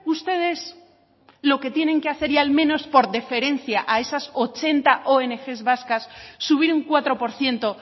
ustedes lo que tienen que hacer y al menos por deferencia a esas ochenta ong vascas subir un cuatro por ciento